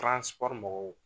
mɔgɔw